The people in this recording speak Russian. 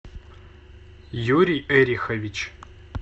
юрий эрихович